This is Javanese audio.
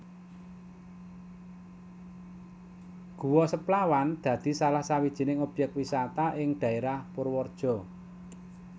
Guwa Seplawan dadi salah sawijining objèk wisata ing daèrah Purwareja